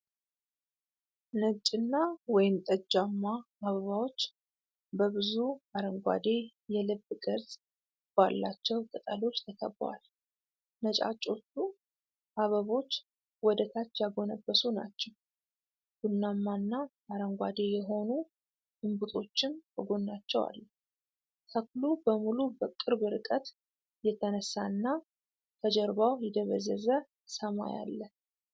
ነጭና ወይንጠጃማ አበባዎች በብዙ አረንጓዴ የልብ ቅርጽ ባላቸው ቅጠሎች ተከበዋል። ነጫጮቹ አበቦች ወደታች ያጎነበሱ ናቸው፣ ቡናማና አረንጓዴ የሆኑ እንቡጦችም ከጎናቸው አሉ። ተክሉ በሙሉ በቅርብ ርቀት የተነሳ እና ከጀርባው የደበዘዘ ሰማይ አለ።